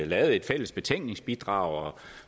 lavet et fælles betænkningsbidrag